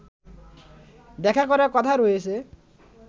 দেখা করার কথা রয়েছে